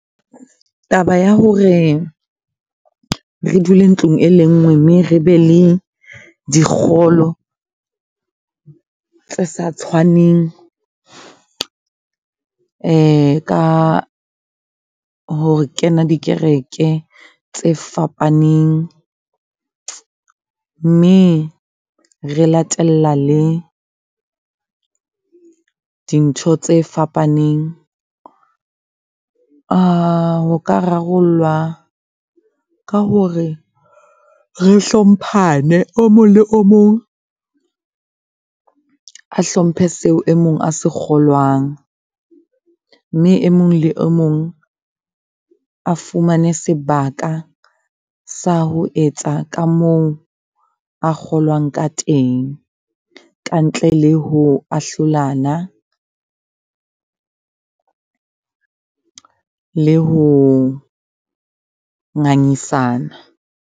Taba ya hore re dule ntlong e le nngwe mme re be le dikgolo tse sa tshwaneng ka ho kena dikereke tse fapaneng, mme re latella le di ntho tse fapaneng. Ho ka rarollwa ka hore re hlompane. O mong le o mong a hlomphe seo e mong a se kgolwang. Mme e mong le o mong a fumane sebaka sa ho etsa ka moo a kgolwang ka teng, kantle le ho ahlolana le ho ngangisana.